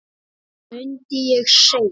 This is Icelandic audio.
mundi ég segja.